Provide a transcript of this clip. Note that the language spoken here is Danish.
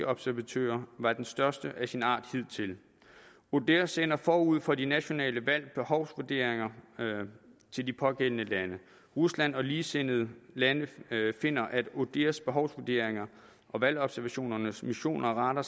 observatører var den største af sin art hidtil odihr sender forud for de nationale valg behovsvurderinger til de pågældende lande rusland og ligesindede lande finder at odihrs behovsvurderinger og valgobservationernes missioner retter